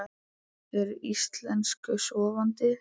Eru þeir Íslensku sofandi?